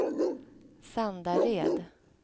Sandared